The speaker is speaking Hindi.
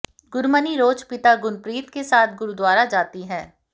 गुरमनी रोज पिता गुनप्रीत के साथ गुरुद्वारा जाती है